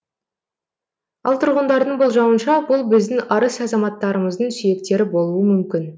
ал тұрғындардың болжауынша бұл біздің арыс азаматтарымыздың сүйектері болуы мүмкін